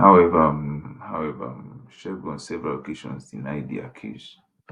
however um however um segun on several occasions deny di accuse